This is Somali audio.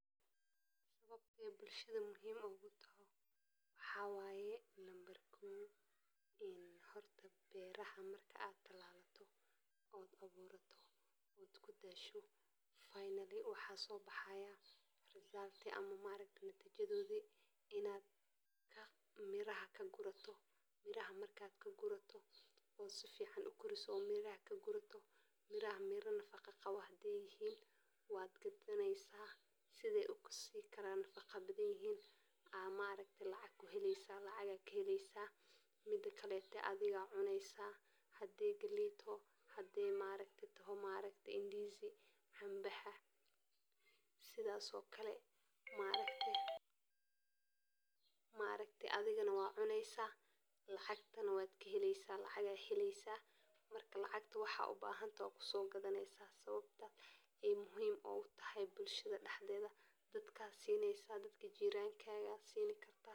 Howshan sidaa bulshada muhim ugu taho waxa waye ,Nambar kow horto beraha marka aad talalato oo aad aburato oo dasho,[cs[finally maxa sobahay result ama natijadodi ,inaad miraha kagurato, miraha markad kagurato oo si fican .Miraha hadey yihin kuwa nafaqo leh waad ibsanesa hadey yihin kuwo lacag ayad kahelesa ,hadey galey taho waad karsanesa adhiga cunesa ,maaragte ndizi cambaha sidhas okale ,maaragte adhigana waad cunesa lacagna waad kahelesa ,lacagta waxad u bahan tahay kuso gadanesa ,sabta ay muhim ogu tahay bulshada dexdeda dadka sinesa ,dadka jirankadha sinesa.